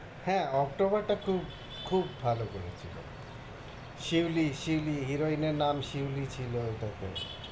হ্যাঁ, অক্টোবর থুব খুব ভালো ভালো করেছিল শিউলি, শিউলি heroine এর নাম শিউলি ছিলো ওইটা টে